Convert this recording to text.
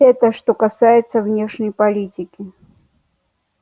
это что касается внешней политики